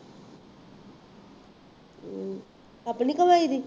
ਹੂੰ ਆਪਣੀ ਕਮਾਈ ਦੀ